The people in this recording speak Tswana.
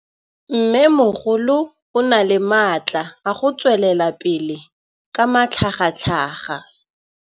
Mmêmogolo o na le matla a go tswelela pele ka matlhagatlhaga.